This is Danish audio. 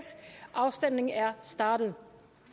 og afstemningen er startet